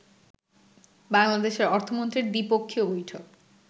বাংলাদেশের অর্থমন্ত্রীর দ্বিপক্ষীয় বৈঠক